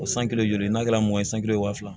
O san kelen n'a kɛ mɔgɔ ye san kelen ye waa fila